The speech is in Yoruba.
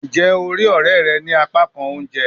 Njẹ o rii ọrẹ rẹ ni apakan ounjẹ?